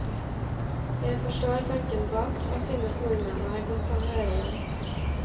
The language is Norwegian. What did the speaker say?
Jeg forstår tanken bak, og synes nordmenn har godt av å høre dem.